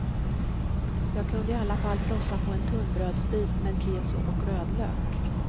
Jag kunde i alla fall frossa på en tunnbrödsbit med keso och rödlök.